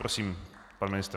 Prosím, pan ministr.